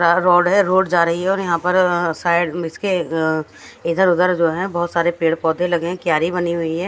हा रोड है रोड जारि है और यहाँ पर साइड इसके अ इधर उधर जो है बोहोत सारे पेड़ पोधे लगे है किआरी बनी हुई है।